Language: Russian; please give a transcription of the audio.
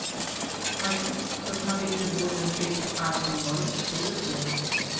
хочу посмотреть футбольную встречу апл норвич с ливерпулем